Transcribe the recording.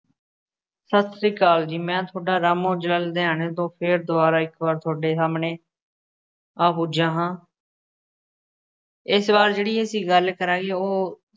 ਸਤਿ ਸ੍ਰੀ ਅਕਾਲ ਜੀ, ਮੈਂ ਤੁਹਾਡਾ ਰਾਮ ਔਜਲਾ ਲੁਧਿਆਣੇ ਤੋਂ, ਫੇਰ ਦੁਬਾਰਾ ਇੱਕ ਵਾਰ ਤੁਹਾਡੇ ਸਾਹਮਣੇ ਆ ਪੁੱਜਾ ਹਾਂ ਇਸ ਵਾਰ ਜਿਹੜੀ ਅਸੀਂ ਗੱਲ ਕਰਾਂਗੇ ਉਹ